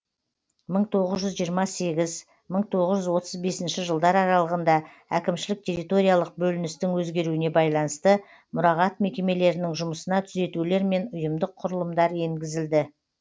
мың тоғыз жүз жиырма сегіз мың тоғыз жүз отыз бесінші жылдар аралығында әкімшілік территориялық бөліністің өзгеруіне байланысты мұрағат мекемелерінің жұмысына түзетулер мен ұйымдық құрылымдар енгізілді